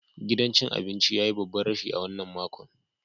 Gidan cin abinci ya yi babban rashi a wannan makon.